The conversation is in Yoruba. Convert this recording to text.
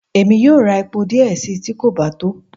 Emi yóò rá epó diẹ sii, ti kò ba to.